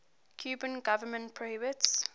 cuban government prohibits